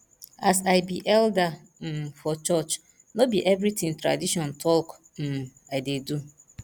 as i be elder um for church no be everytin tradition talk um i dey do